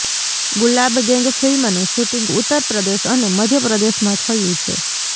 ગુલાબ ગૅંગ ફિલ્મનું શૂટિંગ ઉત્તર પ્રદેશ અને મધ્ય પ્રદેશમાં થયું છે